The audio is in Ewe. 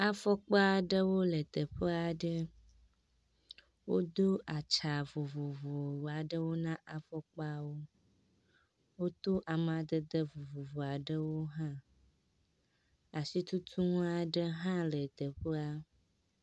Afɔkpa aɖewo le teƒe aɖe. wodo atsa vovovo aɖewo na afɔkpawo. Woto amadede vovovo aɖewo hã. Asitutunu aɖe hã le teƒea.